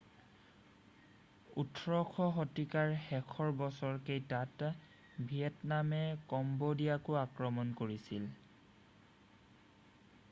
18শ শতিকাৰ শেষৰ বছৰ কেইটাত ভিয়েটনামে কম্বোডিয়াকো আক্ৰমণ কৰিছিল